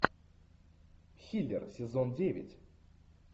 хилер сезон девять